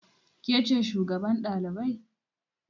Ke ce shugaban ɗalibai?